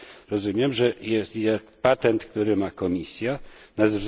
Rozumiem, że patent, który ma Komisja, tzn.